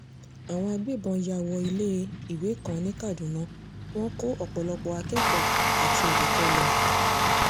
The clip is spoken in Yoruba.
àwọn agbébọn yá wọ ilé-iwé kan ní kaduna wọn kó ọ̀pọ̀lọpọ̀ akẹ́kọ̀ọ́ àti olùkọ́ lọ